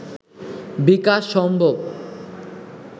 বিকাশ সম্ভব